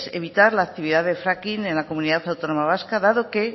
evitar la actividad de fracking en la comunidad autónoma vasca dado que